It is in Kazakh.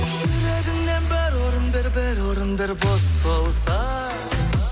жүрегіңнен бір орын бер бір орын бер бос болса